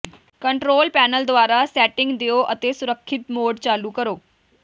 control panel ਦੁਆਰਾ setting ਦਿਓ ਅਤੇ ਸੁਰੱਖਿਅਤ ਮੋਡ ਚਾਲੂ ਕਰੋ